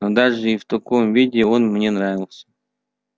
но даже и в таком виде он мне нравился